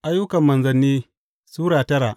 Ayyukan Manzanni Sura tara